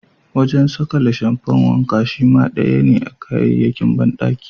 Wajen sakale shamfan wanka shima daya ne a kayayyakin bandaki.